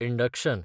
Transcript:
induction